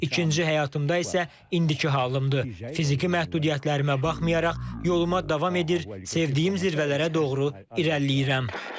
İkinci həyatımda isə indiki halımdır, fiziki məhdudiyyətlərimə baxmayaraq yoluma davam edir, sevdiyim zirvələrə doğru irəliləyirəm.